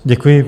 Děkuji.